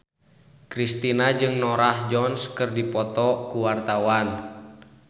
Kristina jeung Norah Jones keur dipoto ku wartawan